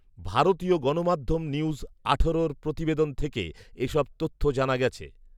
ভারতীয় গণমাধ্যম নিউজ আঠারোর প্রতিবেদন থেকে এসব তথ্য জানা গেছে